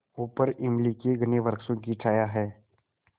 ऊपर इमली के घने वृक्षों की छाया है